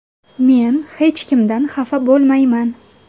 Men hech kimdan xafa bo‘lmayman.